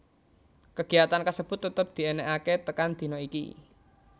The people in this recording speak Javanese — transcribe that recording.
Kegiyatan kasebut tetep dienekake tekan dina iki